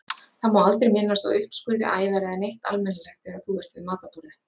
Það má aldrei minnast á uppskurði, æðar eða neitt almennilegt þegar þú ert við matarborðið.